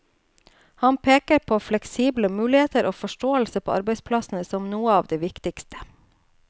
Han peker på fleksible muligheter og forståelse på arbeidsplassene som noe av det viktigste.